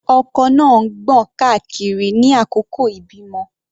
Ọkọ náà ń gbọ̀n káàkiri ní àkókò ìbímọ.